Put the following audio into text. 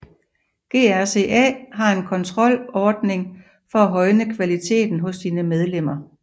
GRCA har en kontrolordning for at højne kvaliteten hos sine medlemmer